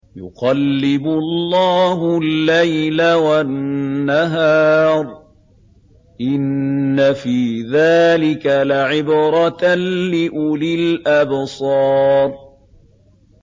يُقَلِّبُ اللَّهُ اللَّيْلَ وَالنَّهَارَ ۚ إِنَّ فِي ذَٰلِكَ لَعِبْرَةً لِّأُولِي الْأَبْصَارِ